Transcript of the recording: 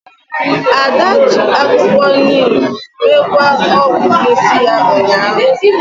Ada ji akwukwo neem mekwaa ogwu n'isi ya ụnyahụ